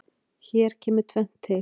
Hér kemur tvennt til.